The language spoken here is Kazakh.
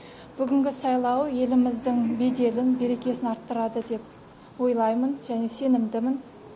бүгінгі сайлау еліміздің беделін берекесін арттырады деп ойлаймын және сенімдімін